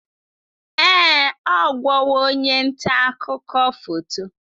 Ee, ọ ghọwo onye nta akụkọ foto.